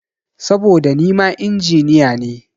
Saboda nima Injiniya ne.